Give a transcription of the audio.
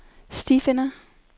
stifinder